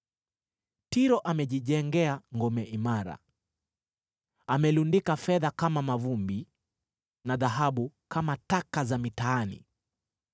Tiro amejijengea ngome imara, amelundika fedha kama mavumbi na dhahabu kama taka za mitaani.